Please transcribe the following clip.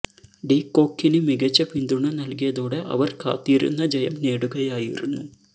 D കോക്കിന് മികച്ച പിന്തുണ നല്കിയതോടെ അവര് കാത്തിരുന്ന ജയം നേടുകയായിരുന്നു